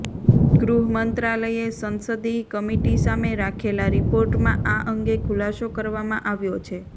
ગૃહ મંત્રાલયે સંસદીય કમિટી સામે રાખેલા રિપોર્ટમાં આ અંગે ખુલાસો કરવામાં આવ્યો છે